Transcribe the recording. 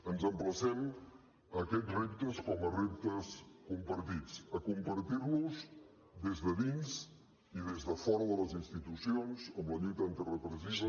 ens emplacem a aquests reptes com a reptes compartits a compartir los des de dins i des de fora de les institucions amb la lluita antirepressiva